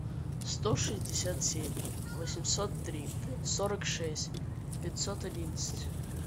сто шестьдесят семь восемьсот три сорок шесть пятьсот одиннадцать